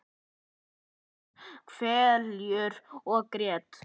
Hún saup hveljur og grét.